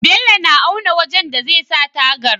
Bello na auna wajan da zai sa tagar